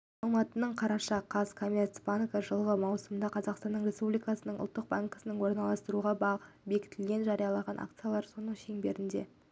алматы қараша қаз казкоммерцбанк жылғы маусымда қазақстан республикасының ұлттық банкімен орналастыруға бекітілген жарияланған акциялар саны шеңберінде